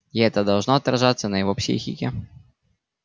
и это должно отражаться на его психике